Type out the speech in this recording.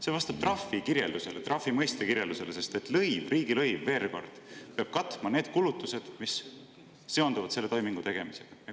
See vastab trahvi kirjeldusele, trahvi mõiste kirjeldusele, sest veel kord, lõiv, riigilõiv, peab katma need kulutused, mis seonduvad selle toimingu tegemisega.